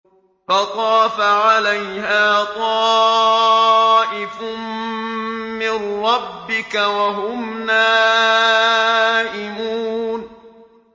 فَطَافَ عَلَيْهَا طَائِفٌ مِّن رَّبِّكَ وَهُمْ نَائِمُونَ